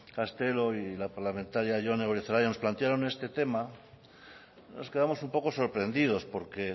castelo y la parlamentaria jone goirizelaia nos plantearon este tema nos quedamos un poco sorprendidos porque